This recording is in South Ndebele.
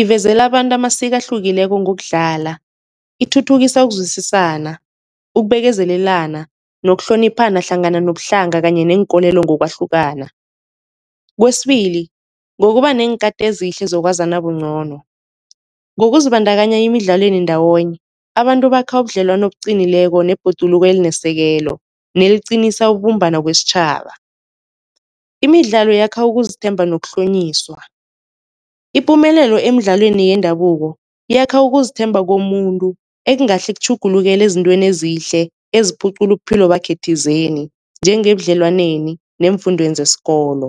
ivezela abantu amasiko ahlukileko ngokudlala, ithuthukisa ukuzwisisana, ukubekezelelana nokuhloniphana hlangana nobuhlanga kanye neenkolelo ngokwahlukana. Kwesibili ngokuba neenkhati ezihle zokwazana ncono, ngokuzibandakanya emidlalweni ndawonye abantu bakha ubudlelwano obuqinileko nebhoduluko elinesekelo neliqinisa ukubumbana kwesitjhaba. Imidlalo yakha ukuzithemba nokuhlonyiswa, ipumelelo emidlalweni yendabuko yakha ukuzithemba komuntu ekungahle kutjhugulukele ezintweni ezihle eziphucula ubuphilo bakhe thizeni njengebudlelwaneni neemfundweni zakhe zesikolo.